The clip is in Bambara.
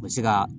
U bɛ se ka